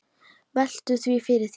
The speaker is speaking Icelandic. Veltu því fyrir þér.